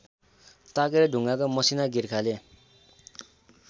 ताकेर ढुङ्गाका मसिना गिर्खाले